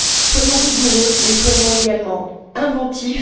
Soyons rigoureux mais soyons également inventifs.